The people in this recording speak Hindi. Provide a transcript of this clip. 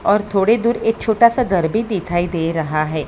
और थोड़ी दूर एक छोटा सा घर भी दिखाई दे रहा है।